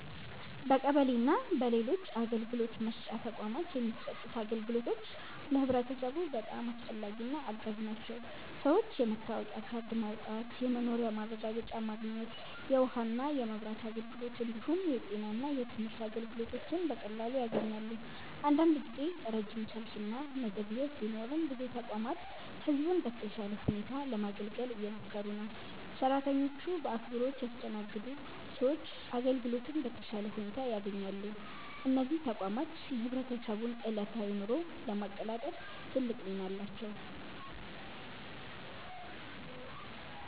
በቀበሌ እና በሌሎች አገልግሎት መስጫ ተቋማት የሚሰጡት አገልግሎቶች ለህብረተሰቡ በጣም አስፈላጊና አጋዥ ናቸው። ሰዎች የመታወቂያ ካርድ ማውጣት፣ የመኖሪያ ማረጋገጫ ማግኘት፣ የውሃና የመብራት አገልግሎት እንዲሁም የጤና እና የትምህርት አገልግሎቶችን በቀላሉ ያገኛሉ። አንዳንድ ጊዜ ረጅም ሰልፍ እና መዘግየት ቢኖርም ብዙ ተቋማት ህዝቡን በተሻለ ሁኔታ ለማገልገል እየሞከሩ ነው። ሰራተኞቹ በአክብሮት ሲያስተናግዱ ሰዎች አገልግሎቱን በተሻለ ሁኔታ ያገኛሉ። እነዚህ ተቋማት የህብረተሰቡን ዕለታዊ ኑሮ ለማቀላጠፍ ትልቅ ሚና አላቸው።